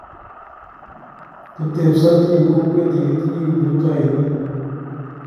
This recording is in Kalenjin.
kitebisoti eng kokwet ye kitinye kiprutoinik